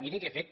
miri que he fet